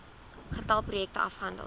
getal projekte afgehandel